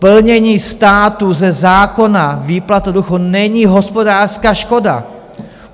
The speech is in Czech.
Plnění státu ze zákona, výplata důchodů, není hospodářská škoda.